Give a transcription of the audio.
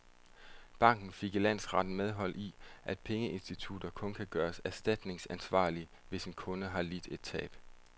Banken fik i landsretten medhold i, at pengeinstitutter kun kan gøres erstatningsansvarlige, hvis en kunde har lidt et tab.